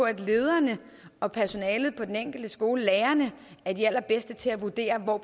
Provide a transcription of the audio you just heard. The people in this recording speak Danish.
at lederne og personalet på den enkelte skole lærerne er de allerbedste til at vurdere hvor